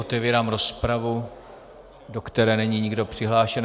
Otevírám rozpravu, do které není nikdo přihlášen.